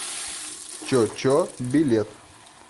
чо чо билет